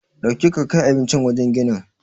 Dauki ka kai abincin wajen ginin.